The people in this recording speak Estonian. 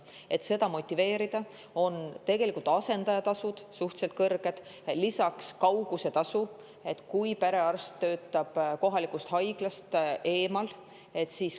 Et motiveerida, on tegelikult asendajatasud suhteliselt kõrged, lisaks kaugusetasu,, kui perearst töötab kohalikust haiglast eemal.